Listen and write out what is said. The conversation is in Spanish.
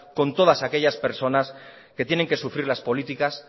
con todas aquellas personas que tienen que sufrir las políticas